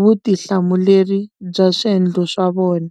vutihlamuleri bya swendlo swa vona.